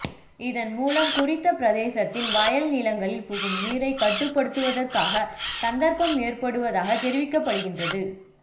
இதன் மூலம் குறித்த பிரதேசத்தின் வயலநிலங்களில் புகும் நீரை கட்டுப்படுத்துவதற்கான சந்தர்ப்பம் ஏற்படுவதாக தெரிவிக்கப்படுகின்றது